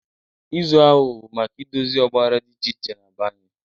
Izu ahụ bụ maka idozi ọgbaghara dị iche iche na be anyị.